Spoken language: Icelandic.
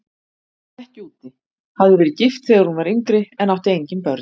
Hún vann ekki úti, hafði verið gift þegar hún var yngri en átti engin börn.